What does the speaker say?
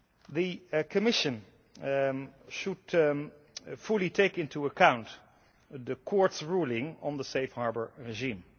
The Commission should fully take into account the Court's ruling on the safe harbour regime.